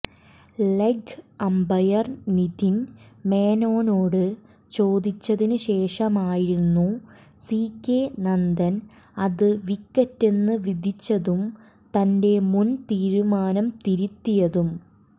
leg umpire Nitin മേനോനോട് ചോദിച്ചതിന്ശേഷമായിരുന്നു C K Nandan അത് വിക്കറ്റെന്ന് വിധിച്ചതും തന്റെ മുൻ തീരുമാനം തിരുത്തിയതും